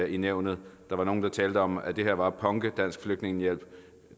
i nævnet der var nogle der talte om at det her var at punke dansk flygtningehjælp